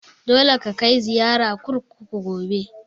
Dole ka kai ziyara kurkuku gobe!